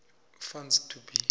funds to be